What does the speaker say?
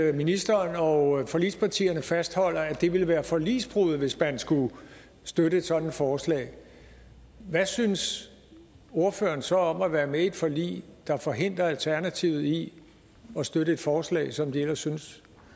at ministeren og forligspartierne fastholder at det ville være forligsbrud hvis man skulle støtte et sådant forslag hvad synes ordføreren så om at være med i et forlig der forhindrer alternativet i at støtte et forslag som de ellers synes